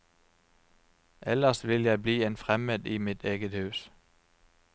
Ellers vil jeg bli en fremmed i mitt eget hus.